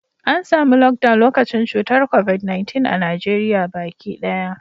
An samu Lockdown lokacin cutar Covid-19 a Najeriya baki daya.